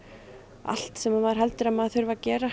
allt sem maður heldur að maður þurfi að gera